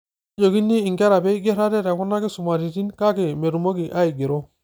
Kejoikini nkera peeigerr ate tekuna kisumaritin, kake metumoki aigero.